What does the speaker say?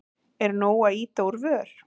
Er nóg að ýta úr vör?